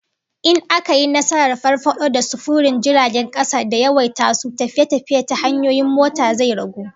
In aka yi nasarar farfado da sufurin jiragen kasa da yawaita su, tafiye-tafiye ta hanyoyin mota zai ragu